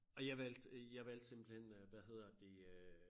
Og jeg valgte jeg valgte simpelthen øh hvad hedder det øh